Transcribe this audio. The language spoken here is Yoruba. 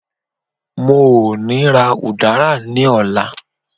mo o ni ra udara ni ọlá